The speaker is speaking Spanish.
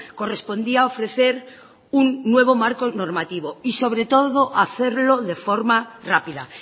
correspondía ofrecer un nuevo marco normativo y sobre todo hacerlo de forma rápida